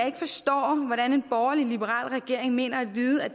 ikke forstår hvordan en borgerlig liberal regering mener at vide at